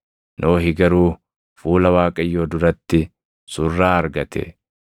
Nohi garuu fuula Waaqayyoo duratti surraa argate.